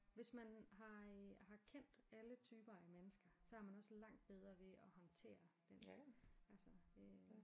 Hvis man har øh har kendt alle typer af mennesker så har man også langt bedre ved at håndtere den altså øh